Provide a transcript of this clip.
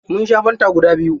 Mun sha fanta guda biyu.